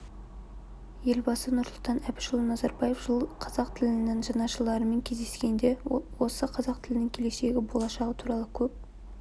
елбасы нұрсұлтан әбішұлы назарбаев жылы қазақ тілінің жанашырларымен кездескенде осы қазақ тілінің келешегі болашағы туралы көп